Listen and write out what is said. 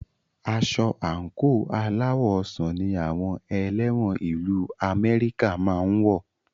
Aṣọ àńkò aláwọ̀ ọsàn ní àwọn ẹlẹ́wọ̀n ìlu Amẹ́ríkà máa ń wọ